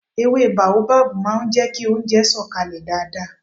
Èwe baobab máà ń jẹ kí oúnjẹ sọ̀ kalẹ̀ dáadáa